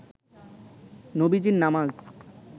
নবীজীর নামাজ